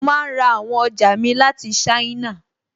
Mo máa n ra àwọn ọjà mi láti ṣáínà